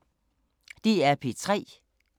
DR P3